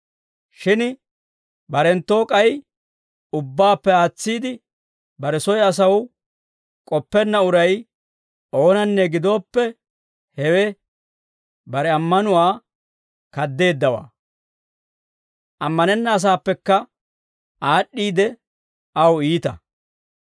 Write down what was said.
Shin barenttuwoo k'ay ubbaappe aatsiide, bare soy asaw k'oppenna uray oonanne gidooppe, hewe bare ammanuwaa kaddeeddawaa. Ammanenna asaappekka aad'd'iide aw iita.